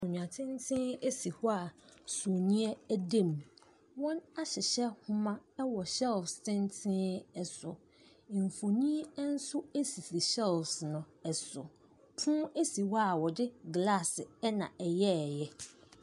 Akonnwa tenten si hɔ a sumiiɛ dam. Wɔahyehyɛ nhoma wɔ shelves tenten so. Mfonin nso sisi shelves no so. Pono si hɔ a wɔde glaase na ɛyɛeɛ.